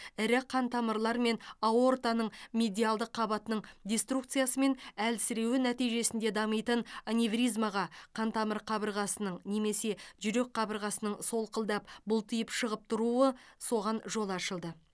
ірі қантамырлар мен аортаның медиалды қабатының деструкциясы мен әлсіреуі нәтижесінде дамитын аневризмаға қантамыр қабырғасының немесе жүрек қабырғасының солқылдап бұлтиып шығып тұруы соған жол ашылды